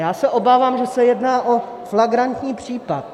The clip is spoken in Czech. Já se obávám, že se jedná o flagrantní případ.